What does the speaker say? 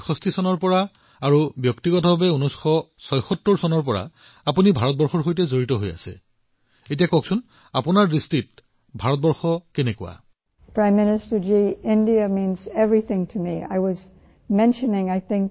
১৯৬৬ চনৰ পৰা বাহিৰত থাকি আৰু ১৯৭৬ চনৰ পৰা কায়িকভাৱে আপুনি ভাৰতৰ সৈতে জড়িত হৈ আছে আপুনি মোক কবনে ভাৰত আপোনাৰ বাবে কি